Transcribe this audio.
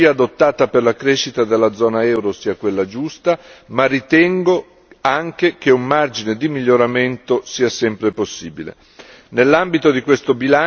Sono convinto che la strategia adottata per la crescita della zona euro sia quella giusta, ma ritengo anche che un margine di miglioramento sia sempre possibile.